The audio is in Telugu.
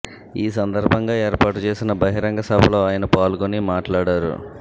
ఈ సందర్భంగా ఏర్పాటు చేసిన బహిరంగ సభలో ఆయన పాల్గొని మాట్లాడారు